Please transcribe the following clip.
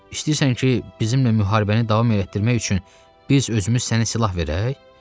İstəyirsən ki, bizimlə müharibəni davam etdirmək üçün biz özümüz sənə silah verək?